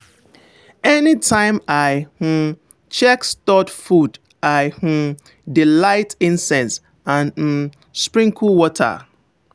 anytime i um check stored food i um dey light incense and um sprinkle water.